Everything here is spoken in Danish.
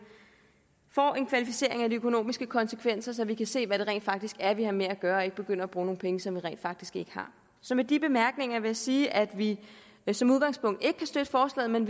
kvalificering af de økonomiske konsekvenser så vi kan se hvad det rent faktisk er vi har med at gøre og ikke begynder at bruge nogle penge som vi rent faktisk ikke har så med de bemærkninger vil jeg sige at vi som udgangspunkt ikke kan støtte forslaget men